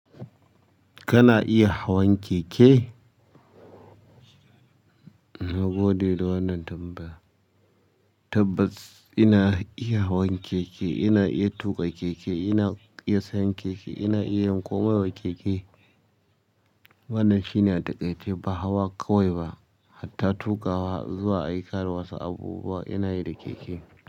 Kana iya hawan keke? Na gode da wannan tambaya. Tabbas ina iya hawan keke, ina iya tuƙa keke, ina iya sayan keke, ina iya yin komai wa keke. Wannan shine a dakai ce ba hawa kawai ba, hatta tuƙawa zuwa aikana wasu abubuwa ina yi da keke.